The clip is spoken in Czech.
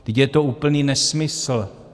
Je to úplný nesmysl.